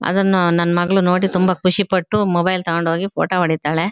ಅದನ್ನು ನನ್ ಮಗಳು ನೋಡಿ ತುಂಬಾ ಖುಷಿ ಪಟ್ಟು ಮೊಬೈಲ್ ತಗೊಂಡು ಹೋಗಿ ಫೋಟೋ ಹೊಡಿತ್ತಾಳೆ.